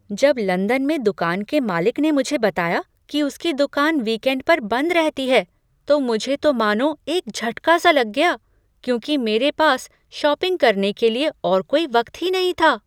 जब लंदन में दुकान के मालिक ने मुझे बताया कि उसकी दुकान विकेंड पर बंद रहती है, तो मुझे तो मानो एक झटका सा लग गया, क्योंकि मेरे पास शॉपिंग करने के लिए और कोई वक्त ही नहीं था।